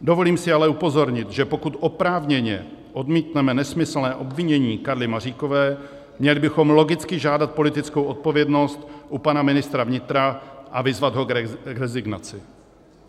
Dovolím si ale upozornit, že pokud oprávněně odmítneme nesmyslné obvinění Karly Maříkové, měli bychom logicky žádat politickou odpovědnost u pana ministra vnitra a vyzvat ho k rezignaci.